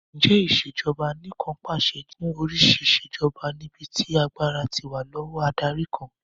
Ǹjẹ́ Ìṣèjọba Anìkànpàṣẹ jẹ́ oríṣi ìṣèjoba níbi tí agbára ti wà lọ́wọ́ adarí kan